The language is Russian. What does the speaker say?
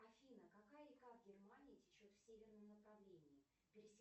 афина какая река в германии течет в северном направлении пересекает